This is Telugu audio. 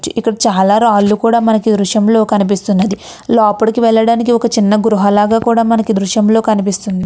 చి ఇక్కడ చాలా రాళ్ళూ కూడా మనకి ఈ దృశ్యంలో మనకి కనిపిస్తున్నది. లోపలి వెళ్ళడానికి ఒక చిన్న గృహ లాగా కూడా మనకి ఈ చిత్రంలో కనిపిస్తుంన్--